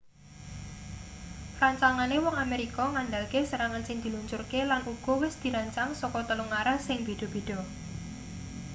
rancangane wong amerika ngandalke serangan sing diluncurke lan uga wis dirancang saka telung arah sing beda-beda